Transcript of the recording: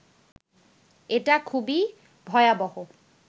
এটা খুবই ভয়াবহ